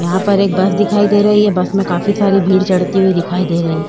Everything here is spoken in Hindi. यहाँ पर एक बस दिखाई दे रही है बस में काफी सारी भीड़ चढ़ती हुवी दिखाई दे रही हैं।